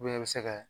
i bɛ se kɛ